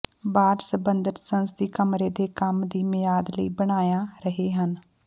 ਬਾਅਦ ਸੰਬੰਧਤ ਸੰਸਦੀ ਕਮਰੇ ਦੇ ਕੰਮ ਦੀ ਮਿਆਦ ਲਈ ਬਣਾਇਆ ਰਹੇ ਹਨ